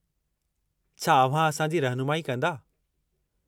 छा अव्हां असांजी रहिनुमाई कंदा?